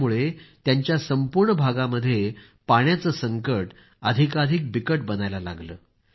यामुळं त्यांच्या संपूर्ण भागामध्ये पाण्याचं संकट अधिकाधिक बिकट बनायला लागलं